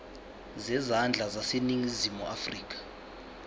zezandla zaseningizimu afrika